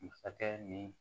Masakɛ ni